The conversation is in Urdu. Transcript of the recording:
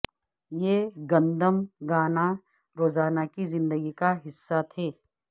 یہ گندم گانا روزانہ کی زندگی کا حصہ تھے